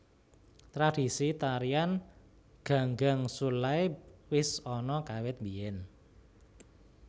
Tradisi tarian Ganggangsullae wis ana kawit biyen